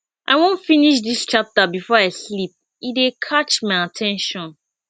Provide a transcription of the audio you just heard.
i wan finish dis chapter before i sleep e dey catch my at ten tion